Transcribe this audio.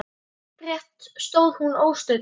Upprétt stóð hún óstudd.